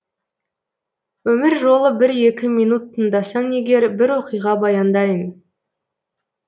өмір жолы бір екі минут тыңдасаң егер бір оқиға баяндайын